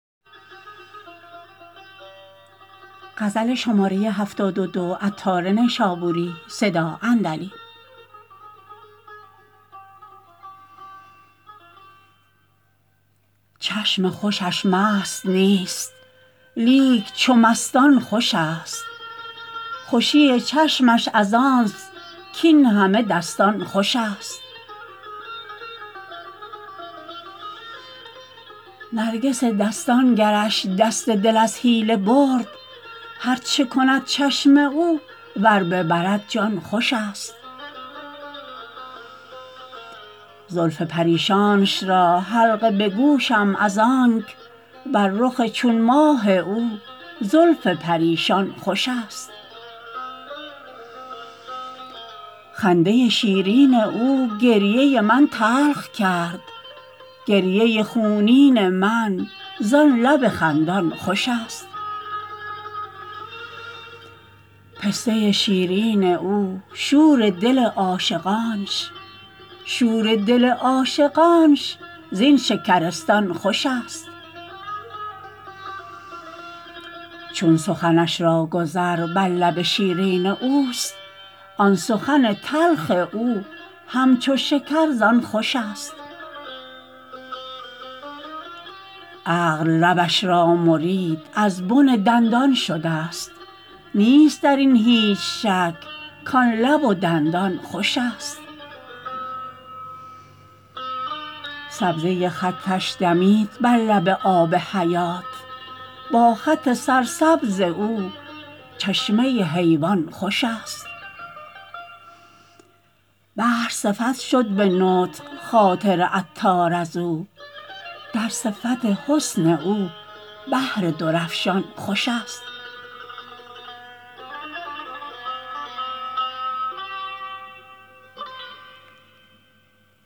چشم خوشش مست نیست لیک چو مستان خوش است خوشی چشمش از آنست کین همه دستان خوش است نرگس دستان گرش دست دل از حیله برد هرچه کند چشم او ور ببرد جان خوش است زلف پریشانش را حلقه به گوشم از آنک بر رخ چون ماه او زلف پریشان خوش است خنده شیرین او گریه من تلخ کرد گریه خونین من زان لب خندان خوش است پسته شیرین او شور دل عاشقانش شور دل عاشقانش زین شکرستان خوش است چون سخنش را گذر بر لب شیرین اوست آن سخن تلخ او همچو شکر زان خوش است عقل لبش را مرید از بن دندان شده است نیست درین هیچ شک کان لب و دندان خوش است سبزه خطش دمید بر لب آب حیات با خط سرسبز او چشمه حیوان خوش است بحر صفت شد به نطق خاطر عطار ازو در صفت حسن او بحر درافشان خوش است